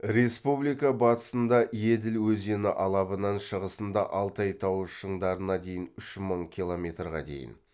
республика батысында еділ өзені алабынан шығысында алтай тауы шыңдарына дейін үш мың километрга дейін